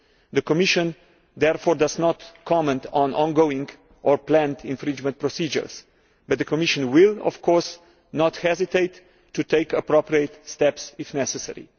The Commission therefore does not comment on ongoing or planned infringement procedures but the Commission will of course not hesitate to take appropriate steps if necessary.